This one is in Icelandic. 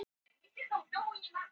Snærún, hvar er dótið mitt?